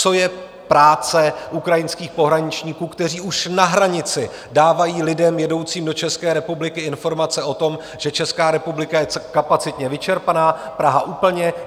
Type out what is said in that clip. Co je práce ukrajinských pohraničníků, kteří už na hranici dávají lidem jedoucím do České republiky informace o tom, že Česká republika je kapacitně vyčerpaná, Praha úplně?